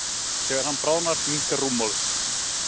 Þegar hann bráðnar minnkar rúmmálið.